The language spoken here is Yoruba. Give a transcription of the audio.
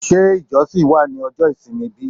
Ṣé ijosin wa ní ojo isimi bi?